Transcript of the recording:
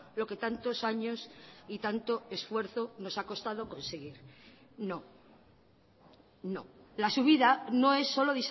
lo que tantos años y tanto esfuerzo nos ha costado conseguir no no la subida no es solo